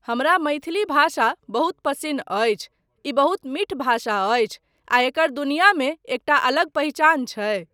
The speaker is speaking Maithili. हमरा मैथिली भाषा बहुत पसिन्न अछि, ई बहुत मीठ भाषा अछि आ एकर दुनियामे एकटा अलग पहिचान छै।